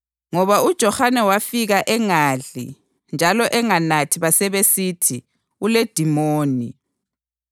Ngoba uJohane wafika engadli njalo enganathi basebesithi, ‘Uledimoni,’